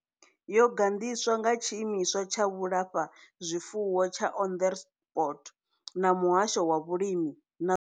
Yo gandiswa nga Tshiimiswa tsha Vhulafha zwifuwo tsha Onderstepoort na Muhasho wa Vhulimi na.